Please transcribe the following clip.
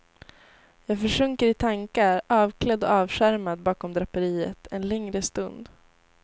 Jag försjunker i tankar avklädd och avskärmad bakom draperiet en längre stund.